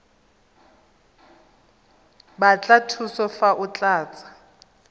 batla thuso fa o tlatsa